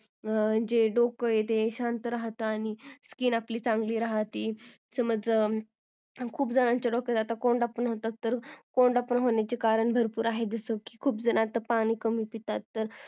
जे डोकं आहे ते शांत राहत आणि skin आपली चांगली राहते समज खुप जनाच्या डोक्यात आता कोंडा पण होतो तर कोंडा पण होण्याची कारणं भरपुर आहे जसकी खुप जण पाणी कमी पितात